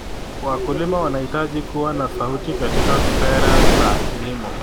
Wakulima wanahitaji kuwa na sauti katika sera za kilimo.